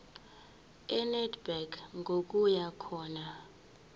enedbank ngokuya khona